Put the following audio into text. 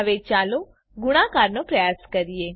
હવે ચાલો ગુણાકારનો પ્રયાસ કરીએ